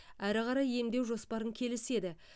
әрі қарай емдеу жоспарын келіседі